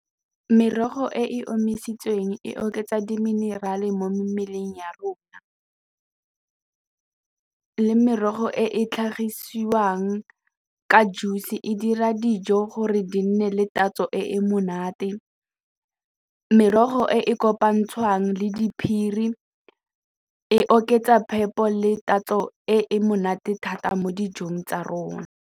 Merogo e e omisitsweng e oketsa di-mineral-e mo mmeleng ya rona le merogo e tlhagiswang ka juice e dira dijo gore di nne le tatso e monate, merogo e e kopanngwang le diphiri e oketsa phepo le tatso e monate thata mo dijong tsa rona.